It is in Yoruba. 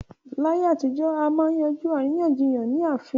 Láyé àtijọ́, à máa ń yanjú àríyànjiyàn ní ààfín